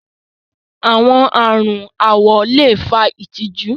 Awọn arùn awọ̀ le fà ìtìjú.